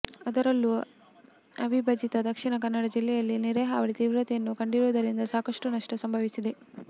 ಅದರಲ್ಲೂ ಅವಿಭಜಿತ ದಕ್ಷಿಣ ಕನ್ನಡ ಜಿಲ್ಲೆಯಲ್ಲಿ ನೆರೆ ಹಾವಳಿ ತೀವ್ರತೆಯನ್ನು ಕಂಡಿರುವುದರಿಂದ ಸಾಕಷ್ಟು ನಷ್ಟ ಸಂಭವಿಸಿದೆ